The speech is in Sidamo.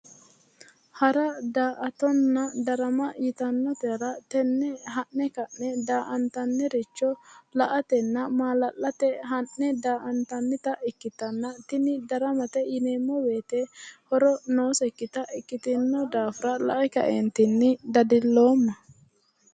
Hara, daa"attonna darama yitannotera tenne ha'ne ka'ne da"antanniricho la"atenna maala'late ha'ne daa"antannita ikkitanna, tini daramate yineemmo woyite horo noosekkita ikkitinnohura lae kae lowo geeshsha dadilloomma.